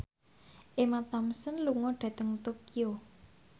Emma Thompson lunga dhateng Tokyo